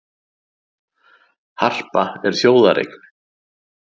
Harpa er þjóðareign